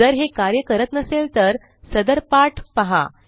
जर हे कार्य करत नसेल तर सदर पाठ पहा